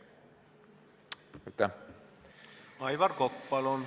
Aivar Kokk, palun!